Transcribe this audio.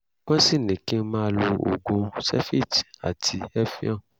wọ́n sì ní kí n máa lo oògùn zevit àti evion